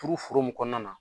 Turu foro min kɔnɔna na.